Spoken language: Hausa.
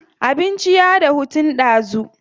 Abincin ya dahu tun ɗazu.